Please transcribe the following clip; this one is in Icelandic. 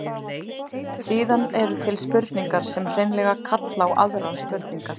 Síðan eru til spurningar sem hreinlega kalla á aðrar spurningar.